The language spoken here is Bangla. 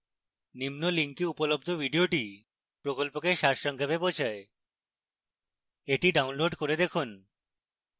নিম্ন link উপলব্ধ video প্রকল্পকে সারসংক্ষেপ বোঝায় the download করে দেখুন